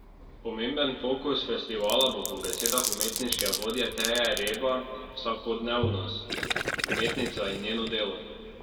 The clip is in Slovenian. Pomemben fokus festivala bo po besedah umetniške vodje Teje Reba vsakodnevnost: "Umetnica in njeno delo.